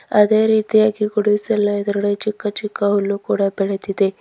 ಅದೇ ರೀತಿಯಾಗಿ ಗುಡಿಸಲ ಎದುರುಗಡೆ ಚಿಕ್ಕ ಚಿಕ್ಕ ಹುಲ್ಲು ಕೂಡ ಬೆಳಿದಿದೆ.